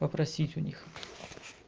попросить у них